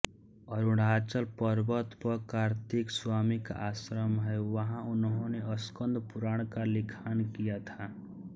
अरुणाचलम पर्वत पर कार्तिक स्वामी का आश्रम है वहां उन्होंने स्कंदपुराण का लिखान किया था